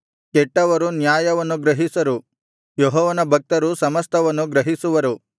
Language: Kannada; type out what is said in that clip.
ಕೆಟ್ಟವರು ನ್ಯಾಯವನ್ನು ಗ್ರಹಿಸರು ಯೆಹೋವನ ಭಕ್ತರು ಸಮಸ್ತವನ್ನು ಗ್ರಹಿಸುವರು